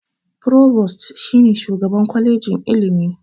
Provost shi ne shugaban kwajejin ilimi.